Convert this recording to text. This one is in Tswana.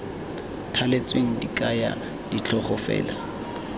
thaletsweng di kaya ditlhogo fela